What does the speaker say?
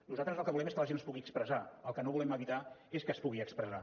nosaltres el que volem és que la gent es pugui expressar el que no volem evitar és que es pugui expressar